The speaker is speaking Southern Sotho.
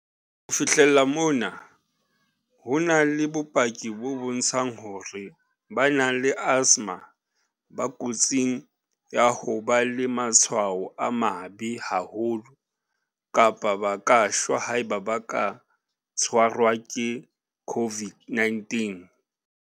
Ho fihlela mona, ho na le bopaki bo bontshang hore ba nang le asthma ba kotsing ya ho ba le matshwao a mabe haholo kapa ba ka shwa haeba ba ka tshwarwa ke COVID-19.